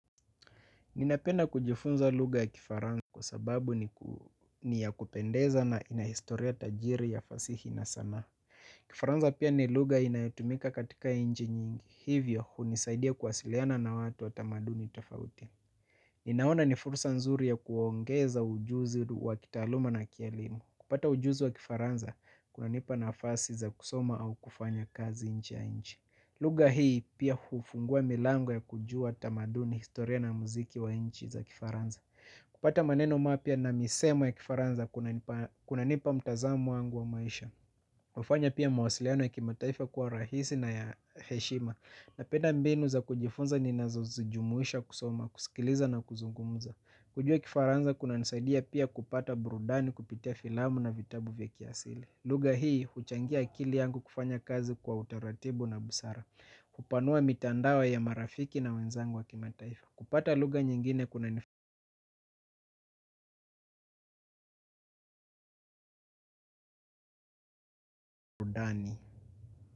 Ninapenda kujifunza lugha ya kifaranza kwa sababu ni ya kupendeza na ina historia tajiri ya fasihi na sana. Kifaranza pia ni lugha inayotumika katika inji nyingi hivyo hunisaidia kuwasiliana na watu wa tamaduni tafauti. Ninaona ni fursa nzuri ya kuongeza ujuzi wa kitaaluma na kielimu. Kupata ujuzi wa kifaranza kunanipa nafasi za kusoma au kufanya kazi nje ya nchi. Lugha hii pia hufungua milango ya kujua tamaduni historia na muziki wa inchi za kifaranza. Kupata maneno mapya na misemo ya kifaranza kunanipa mtazamo wangu wa maisha. Ufanya pia mawasiliano ya kimataifa kuwa rahisi na ya heshima. Napenda mbinu za kujifunza ninazozijumuisha kusoma, kusikiliza na kuzungumza. Kujua kifaranza kunanisaidia pia kupata burudani kupitia filamu na vitabu vya kiasili. Lugha hii huchangia akili yangu kufanya kazi kwa utaratibu na busara. Kupanua mitandao ya marafiki na wenzangu wa kimataifa kupata lugha nyingine kuna fondani.